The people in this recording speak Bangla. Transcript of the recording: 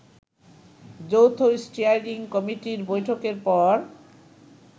যৌথ স্টিয়ারিং কমিটির বৈঠকের পর